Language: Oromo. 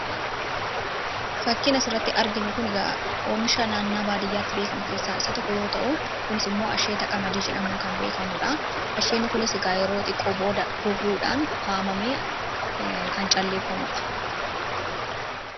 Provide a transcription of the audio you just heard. Fakkiin asirratti arginu kun, oomisha naannoo baadiyyaatti beekamu keessa tokko yoo ta'uu, kunis immoo asheeta qamadii jedhamuun kan beekamuudha. Asheenni kunis yeroo xiqqoodhaan booda goguudhaan haamamee kan calleeffamuudha.